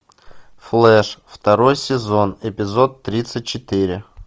флэш второй сезон эпизод тридцать четыре